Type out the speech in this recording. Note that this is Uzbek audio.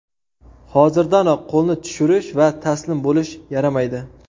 Hozirdanoq qo‘lni tushirish va taslim bo‘lish yaramaydi.